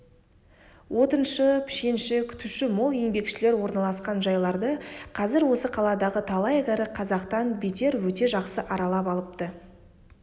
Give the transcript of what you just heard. отыншы пішенші күтуші мол еңбекшілер орналасқан жайларды қазір осы қаладағы талай кәрі қазақтан бетер өте жақсы аралап алыпты